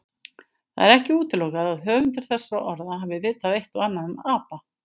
Það er ekki útilokað að höfundur þessara orða hafi vitað eitt og annað um apa.